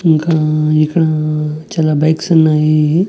ఇంకా ఇక్కడ చాలా బైక్సున్నాయి .